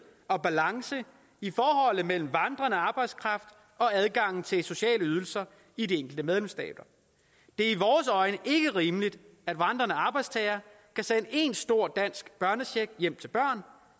og balance i forholdet mellem vandrende arbejdskraft og adgangen til sociale ydelser i de enkelte medlemsstater det er i vores øjne ikke rimeligt at vandrende arbejdstagere kan sende en stor dansk børnecheck hjem til børn